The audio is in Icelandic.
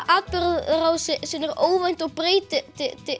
atburðarásin er óvænt og breytist